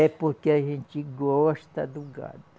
É porque a gente gosta do gado.